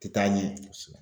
Te taa ɲɛ. Kosɛbɛ.